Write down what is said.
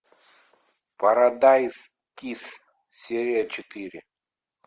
парадайз кисс серия четыре